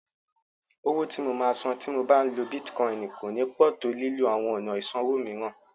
Owó tí mo máa sàn tí mo bá ń lo Bítíkọìnì kò ní pọ̀ tó lílo àwọn ọ̀nà ìsanwó mìíràn.